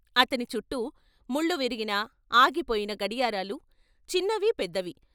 అతనిచుట్టూ ముళ్ళువిరిగిన, ఆగిపోయిన గడియారాలు చిన్నవి, పెద్దవి.